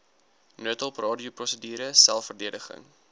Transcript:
noodhulp radioprosedure selfverdediging